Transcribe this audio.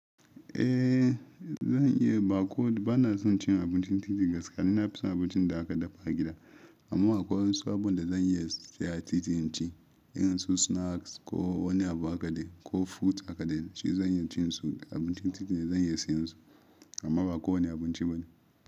Eh, zan iya yi ma ko bana son cin abin cin titi gaskiya nina fi son abin cin da aka dafa gida, amma ba akwai wa 'yansu abubuwan da zan iya saya a titi inci, irin su snacks ko wani abu haka dai ko fruits haka dai shi zanyi cin su abun cin titi zan iya sayen su, amma ba ko wani abun ci bane.